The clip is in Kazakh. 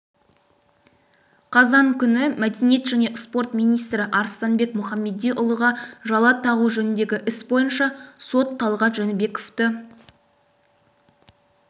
қазан күні мәдениет және спорт министрі арыстанбек мұхамедиұлыға жала тағу жөніндегі іс бойынша сот талғат жәнібековті